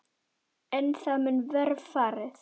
Er það mun verr farið.